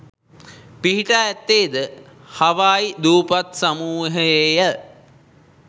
පිහිටා ඇත්තේ ද හවායි දූපත් සමූහයේය